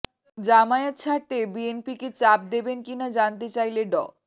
জামায়াত ছাড়তে বিএনপিকে চাপ দেবেন কিনা জানতে চাইলে ড